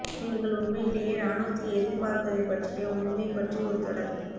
நீங்கள் உண்மையிலேயே இராணுவத்தில் எதிர்பார்ப்பதைப் பற்றிய உண்மை பற்றி ஒரு தொடர்